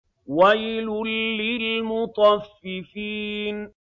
وَيْلٌ لِّلْمُطَفِّفِينَ